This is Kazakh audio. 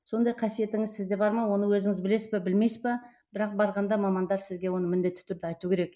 сондай қасиетіңіз сізде бар ма оны өзіңіз білесіз бе білмейсіз бе бірақ барғанда мамандар сізге оны міндетті түрде айту керек